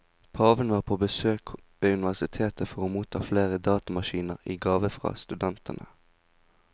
Paven var på besøk ved universitetet for å motta flere datamaskiner i gave fra studentene.